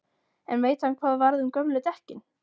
En veit hann hvað varð um gömlu dekkin?